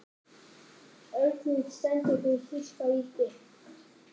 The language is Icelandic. Örninn stendur fyrir þýska ríkið.